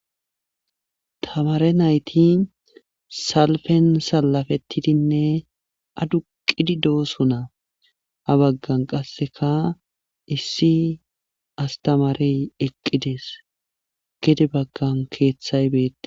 Tamare nayti salfen alafetidinne aduqqidi dosona . ha baggan qassekka issi astamare eqqides gede bagan gede bagan keeththay beetees.